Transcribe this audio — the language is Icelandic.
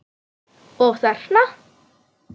Og þarna?